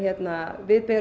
við berum